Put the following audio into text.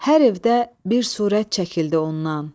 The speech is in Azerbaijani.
Hər evdə bir surət çəkildi ondan.